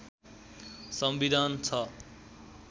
संविधान छ